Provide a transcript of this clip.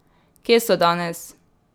Kje so danes?